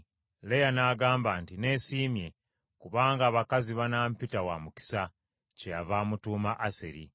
Leeya n’agamba nti, “Neesiimye! Kubanga abakazi banampita wa mukisa;” kyeyava amutuuma Aseri.